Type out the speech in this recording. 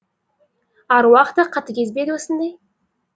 аруақ та қатыгез бе еді осындай